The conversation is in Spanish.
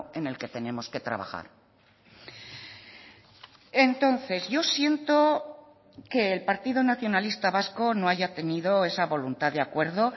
en el que tenemos que trabajar entonces yo siento que el partido nacionalista vasco no haya tenido esa voluntad de acuerdo